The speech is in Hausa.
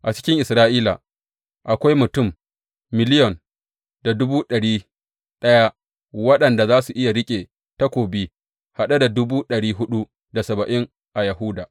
A cikin Isra’ila akwai mutum miliyon da dubu ɗari ɗaya waɗanda za su iya riƙe takobi, haɗe da dubu ɗari huɗu da saba’in a Yahuda.